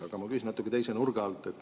Aga ma küsin natuke teise nurga alt.